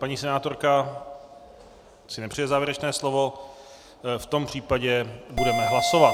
Paní senátorka si nepřeje závěrečné slovo, v tom případě budeme hlasovat.